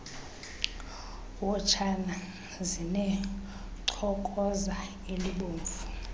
wotshana zinechokoza elibomvu